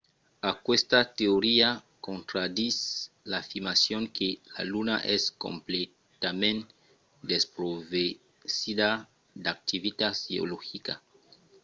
aquesta teoria contraditz l’afirmacion que la luna es completament desprovesida d’activitat geologica